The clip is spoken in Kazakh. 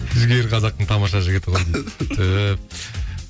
жігер қазақтың тамаша жігіті ғой дейді түһ